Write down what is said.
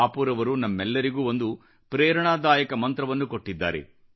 ಬಾಪೂರವರು ನಮ್ಮೆಲ್ಲರಿಗೂ ಒಂದು ಪ್ರೇರಣಾದಾಯಕ ಮಂತ್ರವನ್ನು ಕೊಟ್ಟಿದ್ದಾರೆ